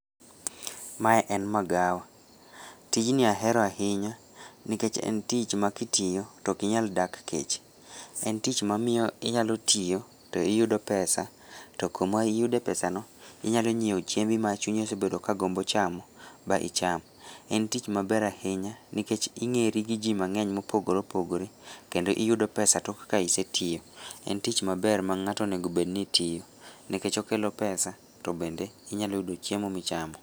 Me en magawa, tijni ahero ahinya, nikech en tich makitiyo tokinyal dak kech, en tich mamiyo inyalotiyo to iyudo pesa to kamaiyude pesano, inyalo nyiewo chiembi ma chunyi osebedo ka gombo chamo ba icham, en tich maber ahinya nikech ing'eri gi jii mang'eny mopogoreopogore, kendo iyudo pesa tok ka isetiyo, en tich maber ma ng'ato onegobedni tiyo, nikech okelo pesa to bendo inyaloyudo chiemo michamo.